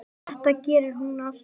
Þetta gerir hún alltaf.